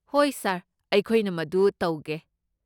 ꯍꯣꯏ ꯁꯥꯔ, ꯑꯩꯈꯣꯏꯅ ꯃꯗꯨ ꯇꯧꯒꯦ꯫